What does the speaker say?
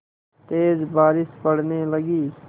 तेज़ बारिश पड़ने लगी